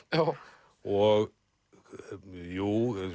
og